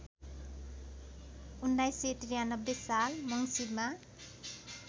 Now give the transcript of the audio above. १९९३ साल मङ्सिरमा